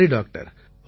சரி டாக்டர்